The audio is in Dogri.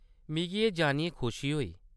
मिगी एह्‌‌ जानियै खुशी होई।